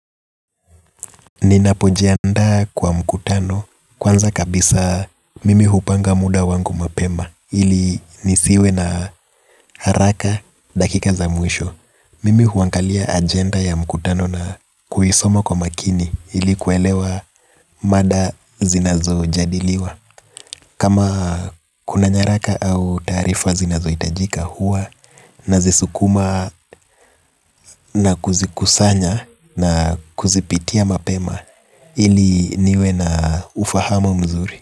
Ninapojiandaa kwa mkutano kwanza kabisa mimi hupanga muda wangu mapema. Ili nisiwe na haraka dakika za mwisho. Mimi huangalia agenda ya mkutano na kuisoma kwa makini ili kuelewa mada zinazojadiliwa. Kama kuna nyaraka au taarifa zinazohitajika huwa nazisukuma na kuzikusanya na kuzipitia mapema. Ili niwe na ufahamu mzuri.